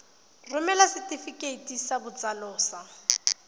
romela setefikeiti sa botsalo sa